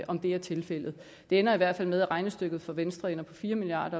om det er tilfældet det ender i hvert fald med at regnestykket for venstre ender på fire milliard